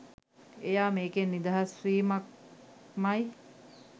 එයා මේකෙන් නිදහස් වීමක්මයි